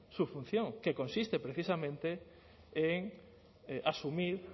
su función que consiste precisamente en asumir